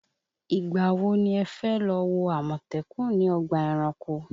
Ìgbà wo ni ẹ fẹ́ lọ wo àmọ̀tẹ́kùn ní ọgbà ẹranko?